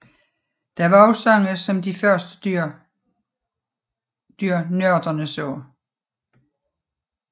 Der var også sange om de første dyr nørderne så